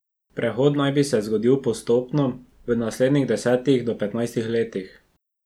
Prehod naj bi se zgodil postopno, v naslednjih desetih do petnajstih letih.